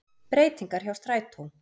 Breytingar hjá strætó